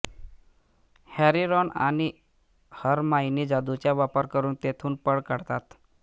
Harry Ron आणि Hermione जादुचा वापर करुन तेथुन पळ काढतात